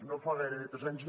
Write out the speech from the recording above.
no fa gairebé tres anys